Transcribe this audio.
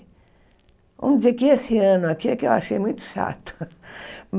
Vamos dizer que esse ano aqui é que eu achei muito chato.